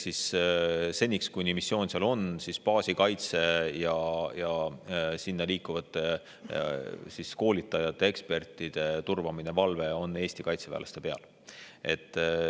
Seniks, kuni missioon seal on, on baasi kaitse ja sinna liikuvate koolitajate, ekspertide turvamine, valve Eesti kaitseväelaste peal.